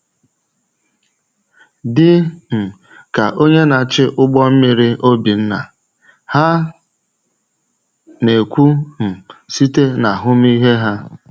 Dị um ka onye na-achị ụgbọ mmiri Obinna, ha na-ekwu um site n’ahụmịhe ha.